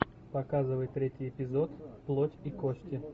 показывай третий эпизод плоть и кости